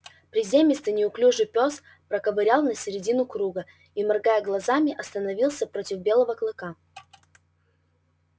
приземистый неуклюжий пёс проковылял на середину круга и моргая глазами остановился против белого клыка